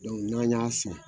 n'an y'a san